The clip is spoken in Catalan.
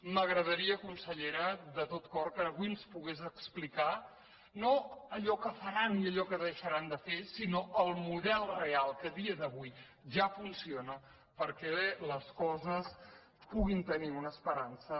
m’agradaria consellera de tot cor que avui ens pogués explicar no allò que faran i allò que deixaran de fer sinó el model real que a dia d’avui ja funciona per·què les coses puguin tenir una esperança